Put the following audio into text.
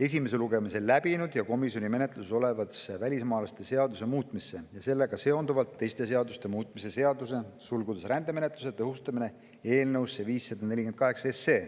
esimese lugemise läbinud ja komisjoni menetluses olevasse välismaalaste seaduse muutmise ja sellega seonduvalt teiste seaduste muutmise seaduse eelnõusse 548.